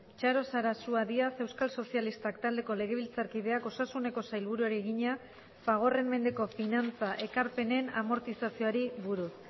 txaro sarasua díaz euskal sozialistak taldeko legebiltzarkideak osasuneko sailburuari egina fagorren mendeko finantza ekarpenen amortizazioari buruz